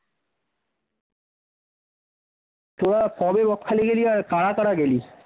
তোরা কবে বকখালি গেলি আর কারা কারা গেলি?